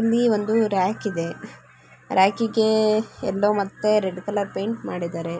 ಇಲ್ಲಿ ಒಂದು ರ್‍ಯಾಕ್‌‌ ಇದೆ ರ್‍ಯಾಕೀಗೆ ಯೆಲ್ಲೋ ಮತ್ತೆ ರೆಡ್ ಕಲರ್ ಪಾಯಿಂಟ್ ಮಾಡಿದಾರೆ.